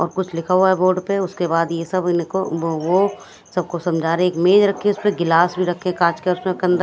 और कुछ लिखा हुआ है बोर्ड पे उसके बाद ये सब इनको वो सबको समझा रहे एक मेज रखी है उसपे गिलास भी रखे कांच का उसमे के--